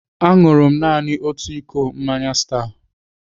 Aṅụrụ m naanị otu iko mmanya Star.